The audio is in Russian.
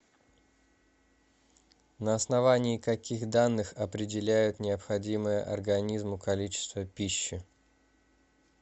на основании каких данных определяют необходимое организму количество пищи